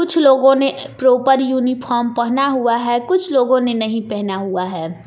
कुछ लोगों ने प्रॉपर यूनिफार्म पहना हुआ है कुछ लोगों ने नहीं पहना हुआ है।